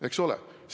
Eks ole!